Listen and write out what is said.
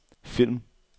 film